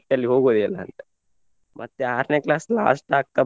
ಮತ್ತಲ್ಲಿ ಹೋಗುದೇ ಇಲ್ಲ ಅಂತ ಮತ್ತೆ ಆರ್ನೆ class last ಆಗ್ತಾ.